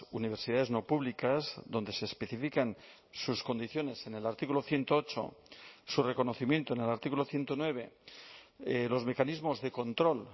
universidades no públicas donde se especifican sus condiciones en el artículo ciento ocho su reconocimiento en el artículo ciento nueve los mecanismos de control